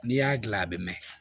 N'i y'a dilan a bɛ mɛn